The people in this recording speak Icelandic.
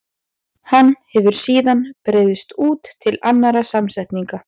Hann hefur síðan breiðst út til annarra samsetninga.